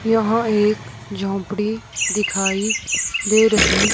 यहां एक झोपड़ी दिखाई दे रही--